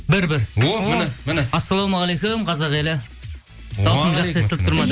бір бір о міне міне ассалаумағалейкум қазақ елі дауысым жақсы естіліп тұр ма